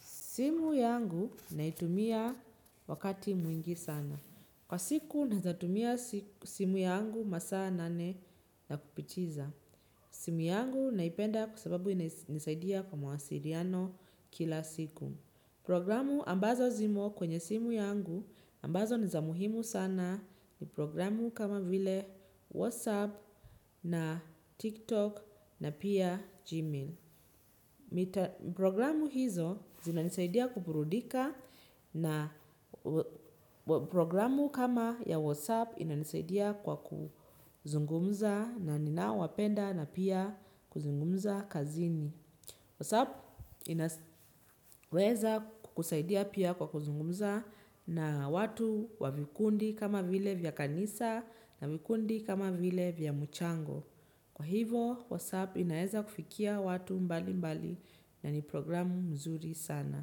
Simu yangu naitumia wakati mwingi sana. Kwa siku naezatumia simu yangu masaa nane na kupichiza. Simu yangu naipenda kwasababu nisaidia kwa mwasiriano kila siku. Programu ambazo zimo kwenye simu yangu ambazo nizamuhimu sana ni programu kama vile WhatsApp na TikTok na pia Gmail. Programu hizo zina nisaidia kuburudika na programu kama ya WhatsApp ina nisaidia kwa kuzungumza na ninao wapenda na pia kuzungumza kazini. WhatsApp inaweza kukusaidia pia kwa kuzungumza na watu wa vikundi kama vile vya kanisa na vikundi kama vile vya mchango. Kwa hivo, Whatsapp inaeza kufikia watu mbali mbali na ni programu nzuri sana.